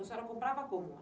A senhora comprava como?